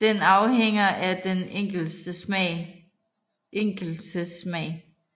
Den afhænger af den enkeltes smag